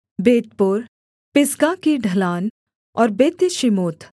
बेतपोर पिसगा की ढलान और बेत्यशीमोत